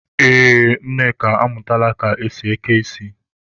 Ee, Nneka amụtala ka esi eke ísí.